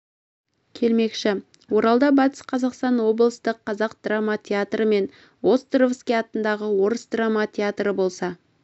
келмекші оралда батыс қазақстан облыстық қазақ драма театры мен островский атындағы орыс драма театры болса